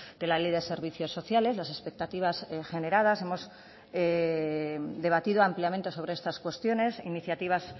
de la ley de servicios sociales las expectativas en general las hemos debatido ampliamente sobre estas cuestiones iniciativas